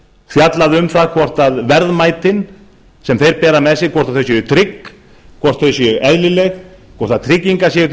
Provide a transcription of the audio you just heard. fjallað um það hvort verðmætin sem þeir bera með sér séu trygg hvort þau séu eðlileg og tryggingar séu til